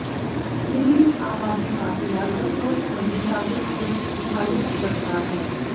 ਦਿੱਲੀ ਵਿਚ ਆਮ ਆਦਮੀ ਪਾਰਟੀ ਨਾਲ ਗੱਠਜੋੜ ਸਬੰਧੀ ਕਾਂਗਰਸ ਦੀ ਦੁਚਿੱਤੀ ਹਾਲੇ ਤਕ ਬਰਕਰਾਰ ਹੈ